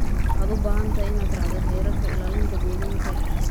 Waxaad u baahan tahay inaad raacdo xeerarka ilaalinta deegaanka.